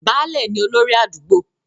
Baálẹ̀ ni olórí àdúgbò.